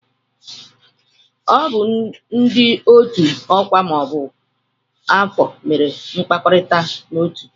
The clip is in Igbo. Ọ bụ ndị otu ọkwa ma ọ bụ afọ mere mkpakọrịta otuu.